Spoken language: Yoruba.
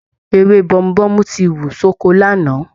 Ewé Bomubómú ti wù sí oko Lànà